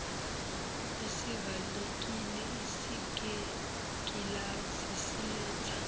esivalekile esinengilazi siletha